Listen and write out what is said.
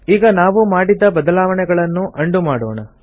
ಈಗ ನಾವು ಮಾಡಿದ ಬದಲಾವಣೆಗಳನ್ನು ಉಂಡೋ ಮಾಡೋಣ